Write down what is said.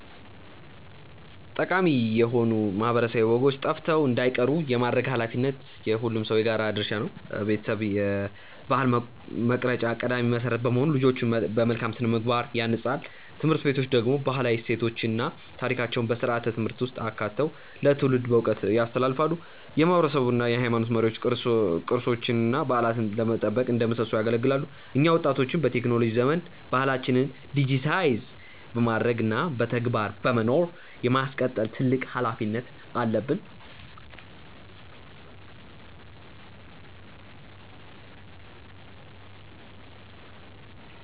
ጠቃሚ የሆኑ ማህበረሰባዊ ወጎች ጠፍተው እንዳይቀሩ የማድረግ ኃላፊነት የሁሉም ሰው የጋራ ድርሻ ነው። ቤተሰብ የባህል መቅረጫ ቀዳሚ መሰረት በመሆኑ ልጆችን በመልካም ስነ-ምግባር ያንጻል። ትምህርት ቤቶች ደግሞ ባህላዊ እሴቶችን እና ታሪኮችን በስርዓተ-ትምህርት ውስጥ አካተው ለትውልድ በዕውቀት ያስተላልፋሉ። የማህበረሰብ እና የሃይማኖት መሪዎች ቅርሶችንና በዓላትን በመጠበቅ እንደ ምሰሶ ያገለግላሉ። እኛ ወጣቶችም በቴክኖሎጂ ዘመን ባህላችንን ዲጂታይዝ በማድረግ እና በተግባር በመኖር የማስቀጠል ትልቅ ኃላፊነት አለብን።